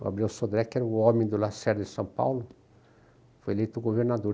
O Gabriel Sodré, que era o homem do Lacerda em São Paulo, foi eleito governador.